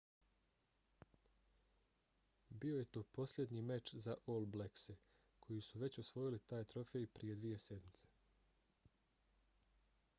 bio je to posljednji meč za all blackse koji su već osvojili taj trofej prije dvije sedmice